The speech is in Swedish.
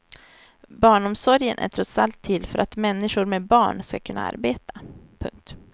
Barnomsorgen är trots allt till för att människor med barn skall kunna arbeta. punkt